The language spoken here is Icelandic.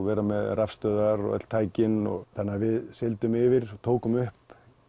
vera með rafstöðvar og öll tæki við sigldum yfir tókum upp